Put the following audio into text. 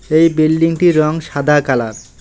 এই বিল্ডিংটির রঙ সাদা কালার ।